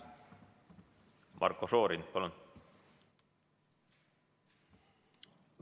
Marko Šorin, palun!